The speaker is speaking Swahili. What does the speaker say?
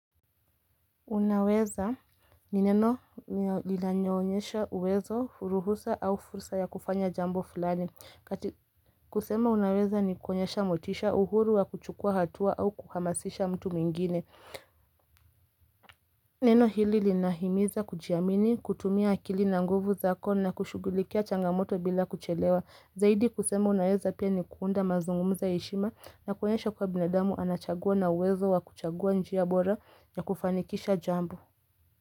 Unaweza ni neno lilanyonyesha uwezo furuhusa au furusa ya kufanya jambo fulani kusema unaweza ni kukonyesha motisha uhuru wa kuchukua hatua au kuhamasisha mtu mingine Neno hili linahimiza kujiamini kutumia akili na nguvu zako na kushugulikia changamoto bila kuchelewa Zaidi kusema unaweza pia ni kuunda mazungumza yeshima na kukonyesha kwa binadamu anachagua na uwezo wa kuchagua njiya bora ya kufanikisha jambo.